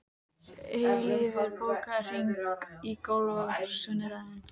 Eilífur, bókaðu hring í golf á sunnudaginn.